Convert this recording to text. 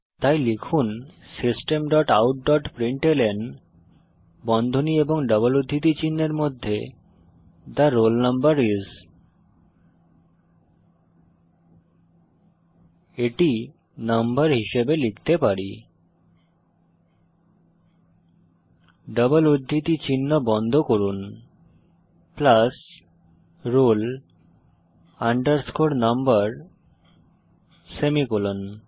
তাই লিখুন system dot out dot println বন্ধনী ও ডবল উদ্ধৃতি চিনহের মধ্যে থে রোল নাম্বার আইএস এটি নাম্বার হিসাবে লিখতে পারি ডবল উদ্ধৃতি চিহ্ন বন্ধ করুন roll number সেমিকোলন